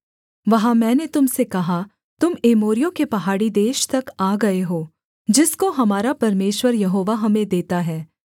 वहाँ मैंने तुम से कहा तुम एमोरियों के पहाड़ी देश तक आ गए हो जिसको हमारा परमेश्वर यहोवा हमें देता है